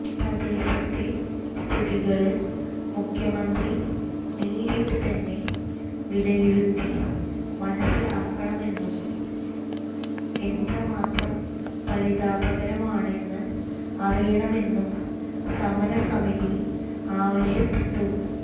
പ്രദേശത്തെ സ്ഥിതിഗതികള് മുഖ്യമന്ത്രി നേരിട്ട് തന്നെ വിലയിരുത്തി മനസിലാക്കണമെന്നും എത്രമാത്രം പരിതാപകരമാണെന്ന് അറിയണമെന്നും സമരസമിതി ആവശ്യപ്പെട്ടു